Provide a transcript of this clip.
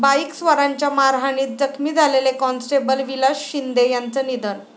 बाईकस्वारांच्या मारहाणीत जखमी झालेले कॉन्स्टेबल विलास शिंदे यांचं निधन